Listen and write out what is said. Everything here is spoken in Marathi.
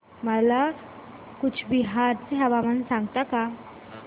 मला कूचबिहार चे हवामान सांगता का